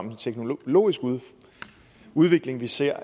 en teknologisk udvikling vi ser